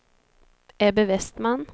Ebbe Westman